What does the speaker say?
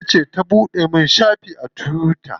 Ita ce ta buɗe min shafi a tuwita.